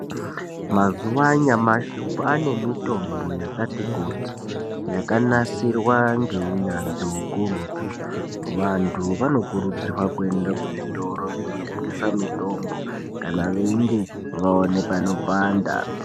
Mazuva anyamashi kwaane mitombo yakati kuti yakanasirwa ngeunyanzvi ukurutu. Vantu vanokurudzirwa kuende kuzvitoro zvinotengese mitombo kana veinge vaone panopanda.